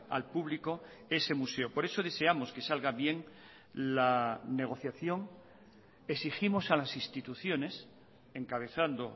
al público ese museo por eso deseamos que salga bien la negociación exigimos a las instituciones encabezando